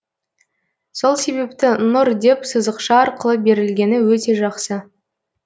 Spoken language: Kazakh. сол себепті нұр деп сызықша арқылы берілгені өте жақсы